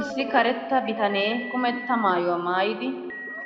Issi karetta bitane kumetta maayuwaa maayidi